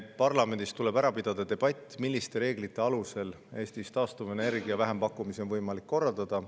Parlamendis tuleb ära pidada debatt selle üle, milliste reeglite alusel Eestis taastuvenergia vähempakkumisi on võimalik korraldada.